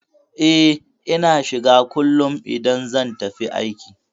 E, Ina shiga kullum idan zan tafi aiki.